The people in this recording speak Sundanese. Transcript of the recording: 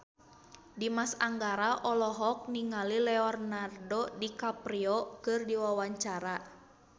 Dimas Anggara olohok ningali Leonardo DiCaprio keur diwawancara